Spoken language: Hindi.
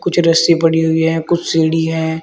कुछ रस्सी पड़ी हुई हैं कुछ सीढ़ी है।